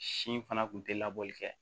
Si fana tun tɛ labɔli kɛ